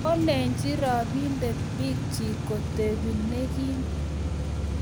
Kolechi robindet biik chik kotebi ne kim